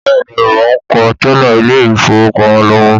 Bẹ́ẹ̀ni mò ń kọ tẹ́là Ilé-ìfowópamó lọ́wọ́